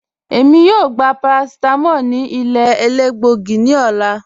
Èmi yóò gbà paracetamól ní ilẹ̀ èlẹ́gbọ̀gí ní òlà.